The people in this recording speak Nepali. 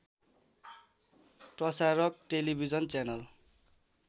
Prasarak television channel